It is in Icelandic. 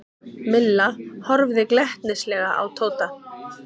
Milla horfði glettnislega á Tóta.